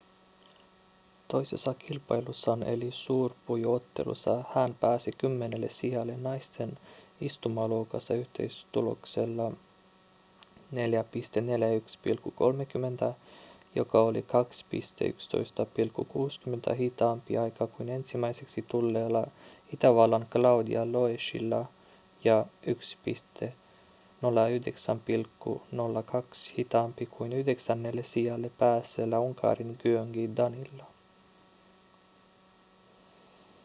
toisessa kilpailussaan eli suurpujottelussa hän pääsi kymmenennelle sijalle naisten istumaluokassa yhteistuloksella 4.41,30 joka oli 2.11,60 hitaampi aika kuin ensimmäiseksi tulleella itävallan claudia loeschilla ja 1.09,02 hitaampi kuin yhdeksännelle sijalle päässeellä unkarin gyöngyi danilla